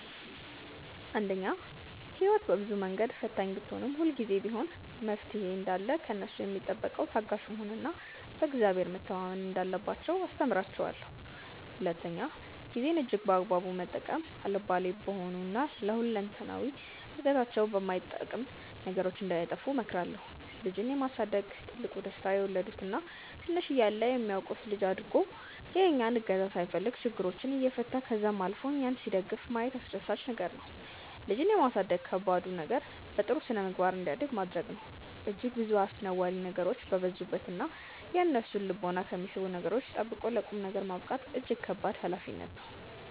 አንደኛ፦ ህይወት በብዙ መንገድ ፈታኝ ብትሆንም፤ ሁልጊዜም ቢሆን መፍትሔ እንዳለ ከእነሱ ሚጠበቀው ታጋሽ መሆን እና በ እግዚአብሔር መተማመን እንዳለባቸው አስተምራቸዋለው። ሁለተኛ፦ ጊዜን እጅግ በአግባቡ መጠቀም፤ አልባሌ በሆኑ እና ለ ሁለንተናዊ እድገታቸው በማይጠቅም ነገሮች እንዳያጠፉ እመክራለሁ። ልጅን የማሳደግ ትልቁ ደስታ የወለዱት እና ትንሽ እያለ የሚያውቁት ልጅ አድጎ የእኛን እገዛ ሳይፈልግ ችግሮችን እየፈታ ከዛም አልፎ እኛን ሲደግፍ ማየት አስደሳች ነገር ነው። ልጅን የማሳደግ ከባዱ ነገር በጥሩ ስነምግባር እንዲያድግ ማድረግ ነው። እጅግ ብዙ አስነዋሪ ነገሮች በበዙበት እና የእነሱን ልቦና ከሚስቡ ነገሮች ጠብቆ ለ ቁምነገር ማብቃት እጅግ ከባድ ሀላፊነት ነው።